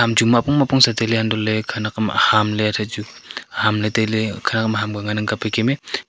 Chu muapong tailey untohley khenak ham ahamley thaichu Hamley tailey khenak ham aham kya ngan ang kapley keme.